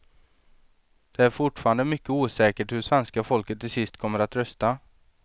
Det är fortfarande mycket osäkert hur svenska folket till sist kommer att rösta.